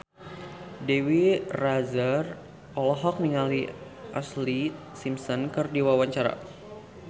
Dewi Rezer olohok ningali Ashlee Simpson keur diwawancara